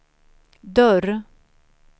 dörr